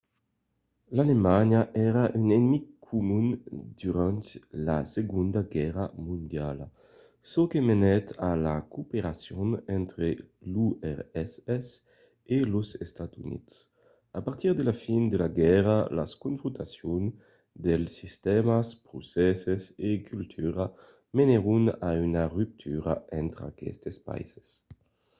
alemanha èra un enemic comun durant la segonda guèrra mondiala çò que menèt a la cooperacion entre l’urss e los estats units. a partir de la fin de laguèrra las confrontacions de sistèmas procèsses e cultura menèron a una ruptura entre aquestes païses